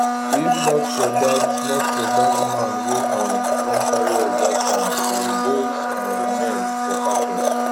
if not for dat not for dat man wey um come carry us dat time um those um men for catch us